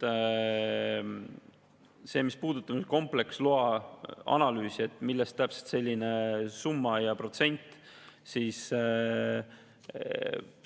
Sellele, mis puudutab kompleksloa analüüsi ja seda, millest täpselt selline summa ja protsent,